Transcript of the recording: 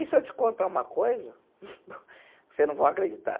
E se eu te contar uma coisa, você não vai acreditar.